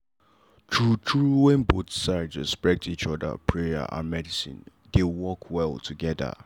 true true wen both sides respect each other prayer and medicine dey work well together.